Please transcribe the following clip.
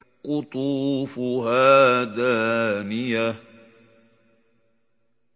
قُطُوفُهَا دَانِيَةٌ